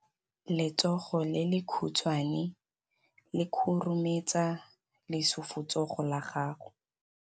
Letsogo le lekhutshwane le khurumetsa lesufutsogo la gago.